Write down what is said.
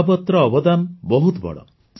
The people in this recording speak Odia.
ଅବାବତ୍ର ଅବଦାନ ବହୁତ ବଡ଼